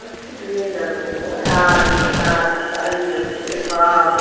A disciplina no no horário de entrada, de saída, do intervalo.